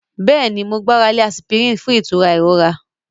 Yes, I rely on aspirin for pain relief